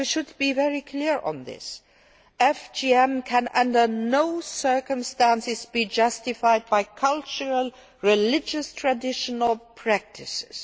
for. We should be very clear on this FGM can under no circumstances be justified by cultural or religious traditional practices.